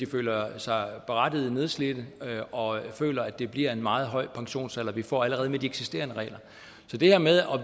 føler sig nedslidte og føler at det bliver en meget høj pensionsalder vi får allerede med de eksisterende regler så det her med at